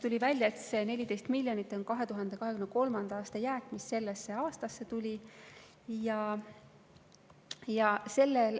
Tuli välja, et see 14 miljonit on 2023. aasta jääk, mis sellesse aastasse üle tuli.